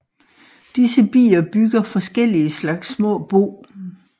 Disse bier bygger forskellige slags små bo